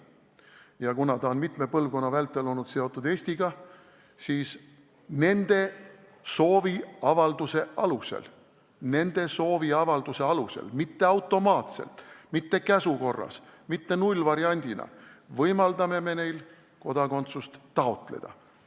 Ja kuna need inimesed on mitme põlvkonna vältel olnud seotud Eestiga, siis nende sooviavalduse alusel – nende sooviavalduse alusel, mitte automaatselt, mitte käsu korras, mitte nullvariandina – me võimaldame neil kodakondsust taotleda.